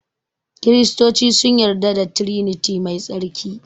Kiristoci sun yarda da triniti mai tsarki